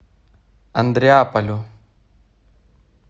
андреаполю